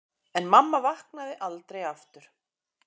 En mamma vaknaði aldrei aftur.